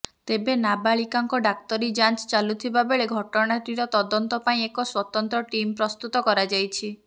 ତେବେ ନାବାଳିକାଙ୍କ ଡ଼ାକ୍ତରୀ ଯାଞ୍ଚ ଚାଲୁଥିବା ବେଳେ ଘଟଣାଟିର ତଦନ୍ତ ପାଇଁ ଏକ ସ୍ୱତନ୍ତ୍ର ଟିମ୍ ପ୍ରସ୍ତୁତ କରାଯାଇଛି